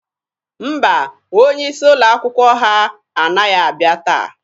Mba, onye isi ụlọ akwụkwọ ha anaghị abịa taa.